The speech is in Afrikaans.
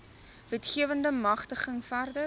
wetgewende magtiging verder